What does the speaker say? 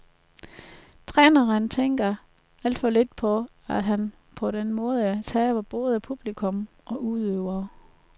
Træneren tænker alt for lidt på, at han på den måde taber både publikum og udøvere.